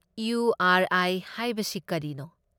U R I ꯍꯥꯏꯕꯁꯤ ꯀꯔꯤꯅꯣ?